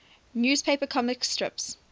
newspaper comic strips